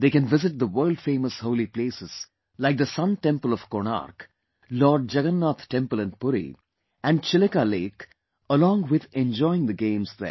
They can visit the world famous holy places like the Sun Temple of Konark, Lord Jagannath Temple in Puri and Chilka Lake along with enjoying the games there